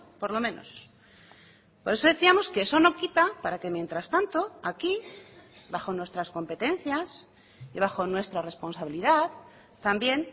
por lo menos por eso decíamos que esono quita para que mientras tanto aquí bajo nuestras competencias y bajo nuestra responsabilidad también